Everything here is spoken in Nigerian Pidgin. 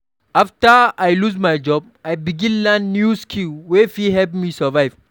After I lose my job, I begin learn new skill wey fit help me survive.